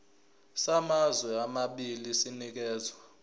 samazwe amabili sinikezwa